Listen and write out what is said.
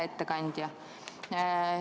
Hea ettekandja!